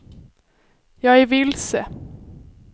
jag är vilse